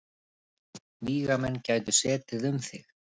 Vígamenn gætu setið um þig.